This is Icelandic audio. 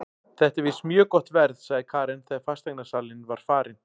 Þetta er víst mjög gott verð, sagði Karen þegar fasteignasalinn var farinn.